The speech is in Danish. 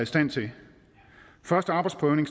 stand til første arbejdsprøvning